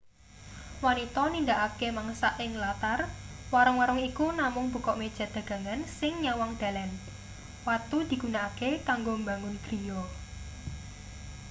wanita nindakake mangsak ing latar warung-warung iku namung bukak meja dagangan sing nyawang dalan watu digunakake kanggo mbangun griya